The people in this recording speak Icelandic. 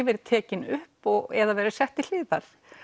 verið tekin upp eða sett til hliðar